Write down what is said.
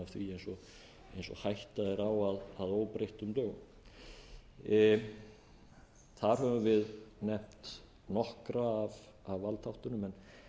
eins og hætta er á að óbreyttum lögum þar höfum við nefnt nokkra af valdþáttunum